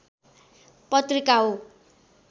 पत्रिका हो।